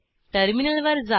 terminal वर जा